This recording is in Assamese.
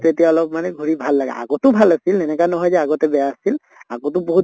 তেতিয়া অলপ মানে ঘুৰি ভাল লাগে । আগতো ভাল আছিলে এনেকা নহয় যে আগতে বেয়া আছিল, আগতো বহুত